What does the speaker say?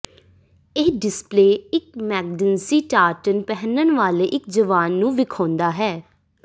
ਇਹ ਡਿਸਪਲੇ ਇੱਕ ਮੈਕਡੈਂਸੀ ਟਾਰਟਨ ਪਹਿਨਣ ਵਾਲੇ ਇੱਕ ਜਵਾਨ ਨੂੰ ਵਿਖਾਉਂਦਾ ਹੈ